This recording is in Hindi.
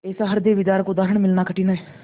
ऐसा हृदयविदारक उदाहरण मिलना कठिन है